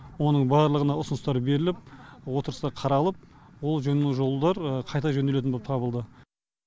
оның барлығына ұсыныстар беріліп отырыста қаралып ол жөні жолдар қайта жөнделетін болып табылды